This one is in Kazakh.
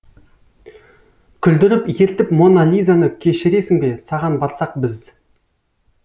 күлдіріп ертіп мона лизаны кешіресің бе саған барсақ біз